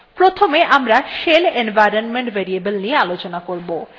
প্রথমে আমরা shell environment variable নিয়ে আলোচনা করবো